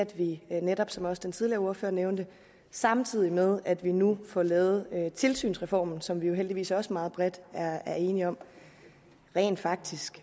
vi netop som også den tidligere ordfører nævnte samtidig med at vi nu får lavet tilsynsreformen som vi jo heldigvis også meget bredt er enige om rent faktisk